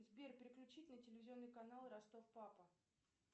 сбер переключить на телевизионный канал ростов папа